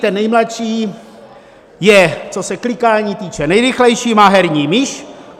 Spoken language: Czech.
Ten nejmladší je, co se klikání týče, nejrychlejší, má herní myš.